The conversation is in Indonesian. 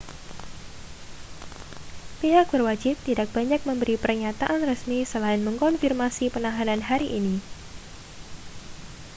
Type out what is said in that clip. pihak berwajib tidak banyak memberi pernyataan resmi selain mengonfirmasi penahanan hari ini